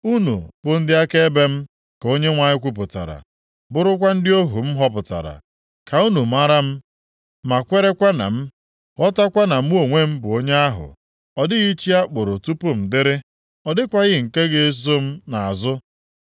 “Unu bụ ndị akaebe m,” ka Onyenwe anyị kwupụtara, “bụrụkwa ndị ohu m họpụtara, ka unu mara m, ma kwerekwa na m, ghọtakwa na Mụ onwe m bụ onye ahụ. Ọ dịghị chi a kpụrụ tupu m dịrị, ọ dịkwaghị nke ga-eso m nʼazụ.